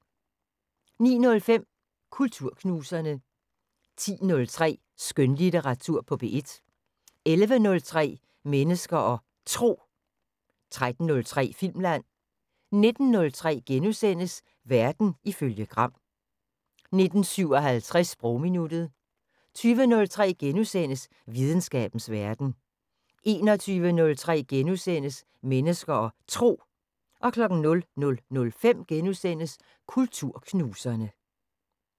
09:05: Kulturknuserne 10:03: Skønlitteratur på P1 11:03: Mennesker og Tro 13:03: Filmland 19:03: Verden ifølge Gram * 19:57: Sprogminuttet 20:03: Videnskabens Verden * 21:03: Mennesker og Tro * 00:05: Kulturknuserne *